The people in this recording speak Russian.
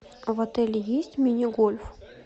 а в отеле есть мини гольф